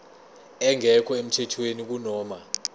engekho emthethweni kunoma